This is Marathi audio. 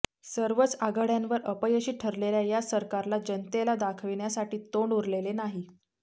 सर्वच आघाड्यांवर अपयशी ठरलेल्या या सरकारला जनतेला दाखवण्यासाठी तोंड उरलेले नाही